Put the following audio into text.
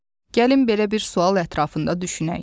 Gəlin belə bir sual ətrafında düşünək.